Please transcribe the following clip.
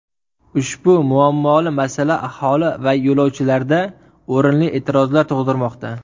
Ushbu muammoli masala aholi va yo‘lovchilarda o‘rinli e’tirozlar tug‘dirmoqda.